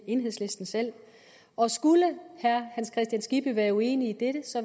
enhedslisten selv og skulle herre hans kristian skibby være uenig i dette